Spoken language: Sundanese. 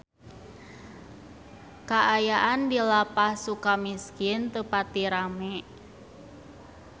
Kaayaan di Lapas Sukamiskin teu pati rame